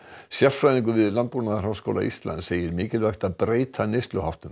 sérfræðingur við Landbúnaðarháskóla Íslands segir mikilvægt að breyta neysluháttum